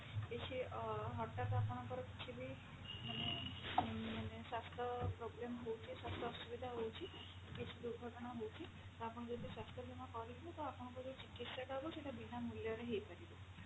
କିଛି ଅ ହଠାତ୍ ଆପଣଙ୍କର କିଛି ବି ମାନେ ଊଁ ମାନେ ସ୍ୱାସ୍ଥ୍ୟ problem ହଉଛି ସ୍ୱାସ୍ଥ୍ୟ ଅସୁବିଧା ହଉଛି କିଛି ଦୁର୍ଘଟଣା ହଉଛି ତ ଆପଣ ଯଦି ସ୍ୱାସ୍ଥ୍ୟ ବୀମା କରିକ ତ ଆପଣଙ୍କର ଚିକିତ୍ସା ଟା ହବ ସେଟା ବିନା ମୂଲ୍ୟରେ ହେଇପାରିବ